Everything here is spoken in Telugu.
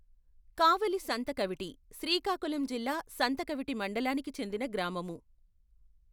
కావలి సంతకవిటి శ్రీకాకుళం జిల్లా సంతకవిటి మండలానికి చెందిన గ్రామము.